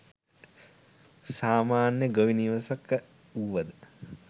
සාමාන්‍ය ගොවි නිවසක වුවද